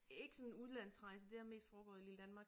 Ikke sådan udlandsrejse det har mest foregået i lille Danmark